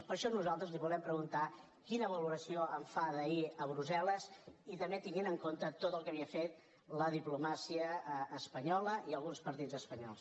per això nosaltres li volem preguntar quina valoració en fa d’ahir a brussel·les i també tenint en compte tot el que havia fet la diplomàcia espanyola i alguns partits espanyols